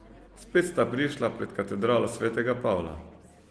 Spet sta prišla pred katedralo svetega Pavla.